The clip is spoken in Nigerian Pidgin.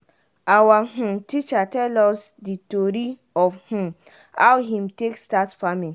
awa um teacher tell us di tori of um how him take start farming.